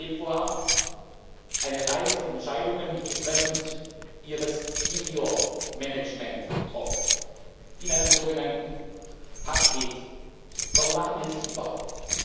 21. Februar eine Reihe von Entscheidungen betreffend ihres Senior Managements getroffen, in einem sogenannten Paket. Warum machen wir das überhaupt?